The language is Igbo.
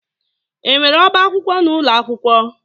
Enwere ọbá akwụkwọ n'ụlọ akwụkwọ?